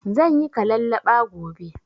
Zanyi kalallaɓa gobe